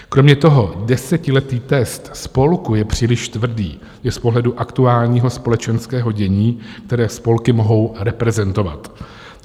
Kromě toho desetiletý test spolku je příliš tvrdý i z pohledu aktuálního společenského dění, které spolky mohou reprezentovat.